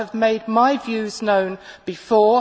I have made my views known before.